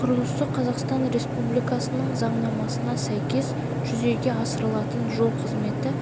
құрылысы қазақстан республикасының заңнамасына сәйкес жүзеге асырылатын жол қызметі